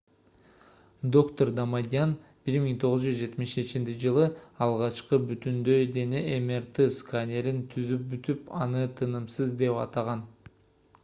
доктор дамадьян 1977-жылы алгачкы бүтүндөй дене мрт-сканерин түзүп бүтүп аны тынымсыз деп атаган